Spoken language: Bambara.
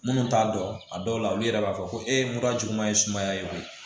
Minnu t'a dɔn a dɔw la olu yɛrɛ b'a fɔ ko e ye mura juguma ye sumaya ye